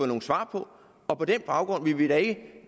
nogen svar på og på den baggrund vil vi da ikke